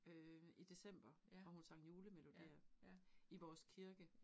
Øh i december hvor hun sang julemelodier i vores kirke